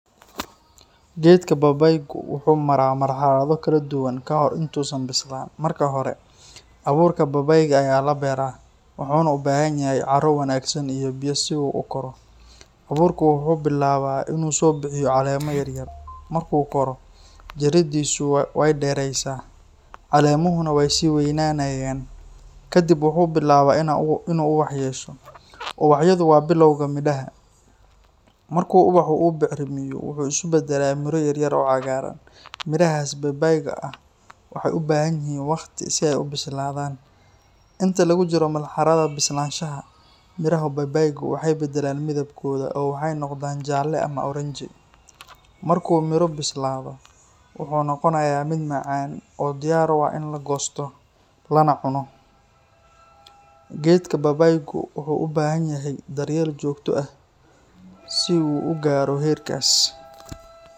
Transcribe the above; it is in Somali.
Geedka babaaygu wuxuu maraa marxalado kala duwan ka hor inta uusan bislaan. Marka hore, abuurka babaayga ayaa la beeraa, wuxuuna u baahan yahay carro wanaagsan iyo biyo si uu u koro. Abuurku wuxuu bilaabaa inuu soo bixiyo caleemo yaryar. Markuu koro, jiriddiisu way dheeraysaa, caleemuhuna way sii weynaanayaan. Kadib wuxuu bilaabaa inuu ubax yeesho. Ubaxyadu waa bilowga midhaha. Marka ubaxa uu bacrimiyo, wuxuu isu beddelaa miro yar oo cagaaran. Midhahaas babaayga ah waxay u baahan yihiin waqti si ay u bislaadaan. Inta lagu jiro marxaladda bislaanshaha, midhaha babaaygu waxay beddelaan midabkooda oo waxay noqdaan jaalle ama oranji. Marka uu miro bislaado, wuxuu noqonayaa mid macaan oo diyaar u ah in la goosto lana cuno. Geedka babaaygu wuxuu u baahan yahay daryeel joogto ah si uu u gaaro heerkaas.